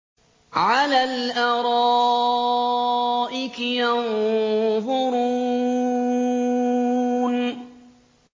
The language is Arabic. عَلَى الْأَرَائِكِ يَنظُرُونَ